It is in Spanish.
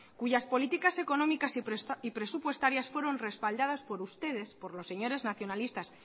cuyas políticas económicas y presupuestarias fueron respaldadas por ustedes por los señores nacionalistas